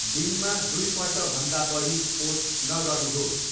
दिनमा दुईपल्टभन्दा बढी पोस्ट नगर्नुहोस्।